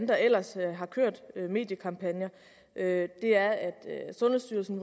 der ellers har kørt mediekampagner er at sundhedsstyrelsen